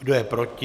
Kdo je proti?